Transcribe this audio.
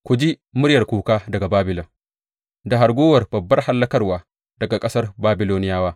Ku ji muryar kuka daga Babilon, Da hargowar babbar hallakarwa daga ƙasar Babiloniyawa!